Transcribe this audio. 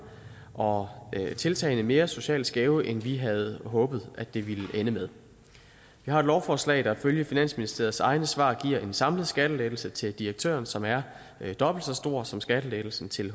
og tiltagene mere socialt skæve end vi havde håbet det ville ende med vi har et lovforslag der ifølge finansministeriets egne svar giver en samlet skattelettelse til direktøren som er dobbelt så stor som skattelettelsen til